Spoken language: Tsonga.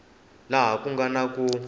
laha ku nga na ku